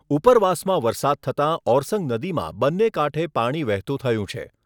ઉપરવાસમાં વરસાદ થતાં ઓરસંગ નદીમાં બંને કાંઠે પાણી વહેતું થયું છે.